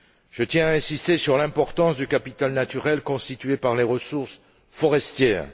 Je tiens à insister sur l'importance du capital naturel constitué par les ressources forestières.